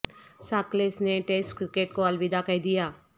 Jacques Kallis نے test cricket کو الوداع کہہ دیا